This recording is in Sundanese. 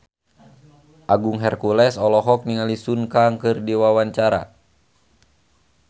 Agung Hercules olohok ningali Sun Kang keur diwawancara